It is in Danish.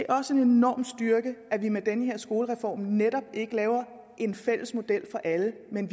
også en enorm styrke at vi med den her skolereform netop ikke laver en fælles model for alle men